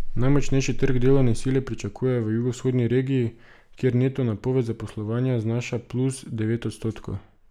Najmočnejši trg delovne sile pričakujejo v jugovzhodni regiji, kjer neto napoved zaposlovanja znaša plus devet odstotkov.